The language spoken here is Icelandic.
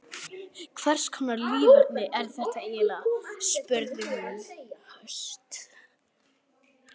Hverskonar líferni er þetta eiginlega? spurði hún höst.